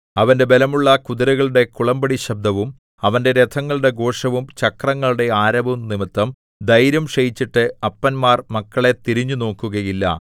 അവന്റെ ബലമുള്ള കുതിരകളുടെ കുളമ്പടിശബ്ദവും അവന്റെ രഥങ്ങളുടെ ഘോഷവും ചക്രങ്ങളുടെ ആരവവും നിമിത്തം ധൈര്യം ക്ഷയിച്ചിട്ട് അപ്പന്മാർ മക്കളെ തിരിഞ്ഞുനോക്കുകയില്ല